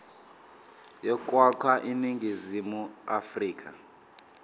yokwakha iningizimu afrika